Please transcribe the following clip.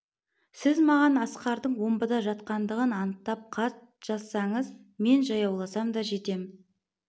сіз маған асқардың омбыда жатқандығын анықтап хат жазсаңыз мен жаяуласам да жетем